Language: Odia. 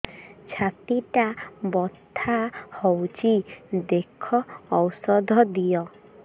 ଛାତି ଟା ବଥା ହଉଚି ଦେଖ ଔଷଧ ଦିଅ